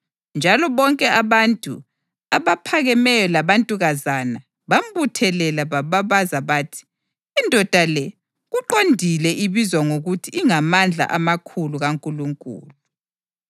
njalo bonke abantu, abaphakemeyo labantukazana bambuthanela bababaza bathi, “Indoda le kuqondile ibizwa ngokuthi ingaMandla amakhulu kaNkulunkulu.”